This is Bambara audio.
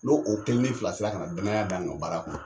N'o o kelen ni fila sera kana danaya d'an kan o baara kɔnɔ